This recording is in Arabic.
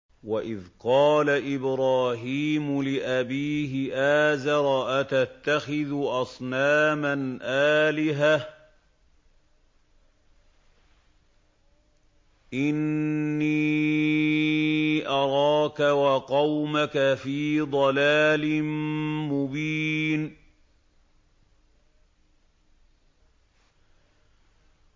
۞ وَإِذْ قَالَ إِبْرَاهِيمُ لِأَبِيهِ آزَرَ أَتَتَّخِذُ أَصْنَامًا آلِهَةً ۖ إِنِّي أَرَاكَ وَقَوْمَكَ فِي ضَلَالٍ مُّبِينٍ